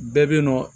Bɛɛ bɛ yen nɔ